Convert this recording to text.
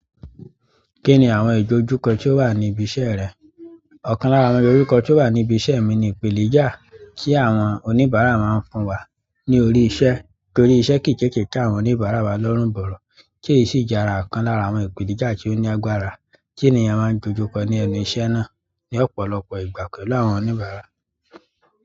Kí ni àwọn ìdójúkọ tí ó wà ní ibi iṣẹ́ rẹ? Ọ̀kan lára àwọn ìdójúkọ tí ó wà ní ibi iṣẹ́ mi ni ìpènijà tí àwọn oníbàárà máa ń fún wa ní orí iṣẹ́. Torí iṣẹ́ kii tètè te àwọn onibara wa lorun boro, ti ese ìjà okan lára aqon ipenija to ni agbára.